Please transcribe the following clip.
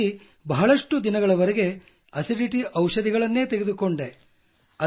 ಹಾಗಾಗಿ ಬಹಳಷ್ಟು ದಿನಗಳವರೆಗೆ ಆಸಿಡಿಟಿ ಔಷಧಿಗಳನ್ನು ತೆಗೆದುಕೊಂಡೆ